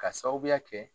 K'a sababuya kɛ